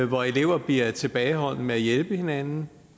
hvor elever bliver tilbageholdende med at hjælpe hinanden